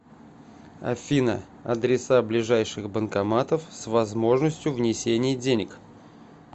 афина адреса ближайших банкоматов с возможностью внесения денег